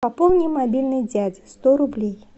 пополни мобильный дяди сто рублей